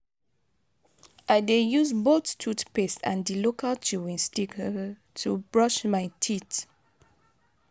i dey use both toothpaste and di local chewing stick to brush my teeth.